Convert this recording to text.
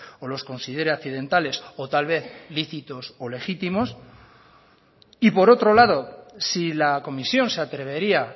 o los considere accidentales o tal vez lícitos o legítimos y por otro lado si la comisión se atrevería